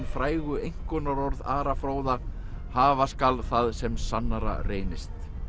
frægu einkunnarorð Ara fróða hafa skal það sem sannara reynist